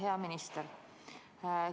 Hea minister!